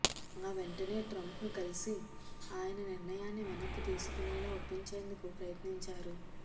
ఆ వెంటనే ట్రంప్ను కలిసి ఆయన నిర్ణయాన్ని వెనక్కి తీసుకునేలా ఒప్పించేందుకు ప్రయత్నించారు